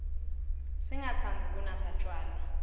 singatsandzi kunatsa tjwala